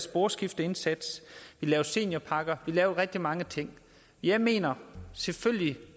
sporskifteindsats vi lavede seniorpakker vi lavede rigtig mange ting jeg mener at selvfølgelig